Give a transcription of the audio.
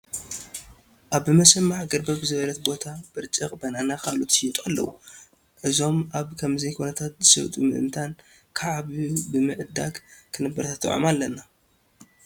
ኣብ ብመሸማዕ ገርበብ ዝበለት ቦታ ብርጭቕ፣ በነናን ካልኦትን ይሽየጡ ኣለዉ፡፡ እዞም ኣብ ከምዚ ኩነታት ዝሸጡ ምእንታን ክዓብዩ ብምዕዳግ ክነተባብዖም ኣለና፡፡